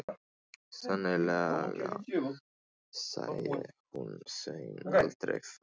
Sennilega sæi hún Svein aldrei framar.